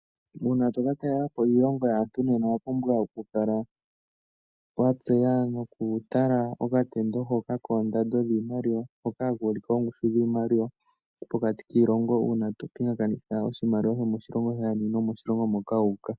Una toka talelapo iilongo yaantu nena owa pumbwa oku kala watseya noku tala okatendo hoka koondando dhiimaliwa hoka haka ulike oongushu dhiimaliwa pokati kiilongo una to pingakanitha iimaliwa shomoshilongo shayeni nomoshilongo moka wu uka.